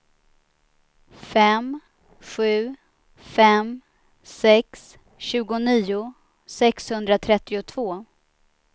fem sju fem sex tjugonio sexhundratrettiotvå